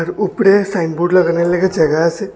উপরে সাইনবোর্ড লাগানোর লেগা জায়গা আছে।